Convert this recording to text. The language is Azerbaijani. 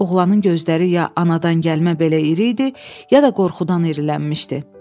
Oğlanın gözləri ya anadan gəlmə belə iri idi, ya da qorxudan irilənmişdi.